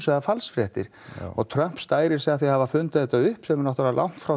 eða falsfréttir og Trump stærir sig að því að hafa fundið þetta upp sem er náttúrulega langt frá